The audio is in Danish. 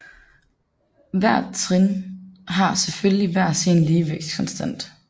Hvert trin har selvfølgelig hver sin ligevægtskonstant